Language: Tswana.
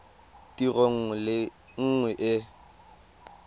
tiro nngwe le nngwe e